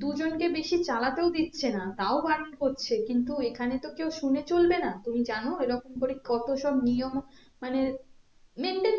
দু জন কে বেশি চালাতেও দিচ্ছে না তাও বারণ করছে কিন্তু এখানে তো কেও শুনে চলবে না তুমি জানো এরকম করে কত সব নিয়ম মানে maintain